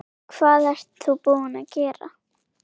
Hvað ert þú að gera?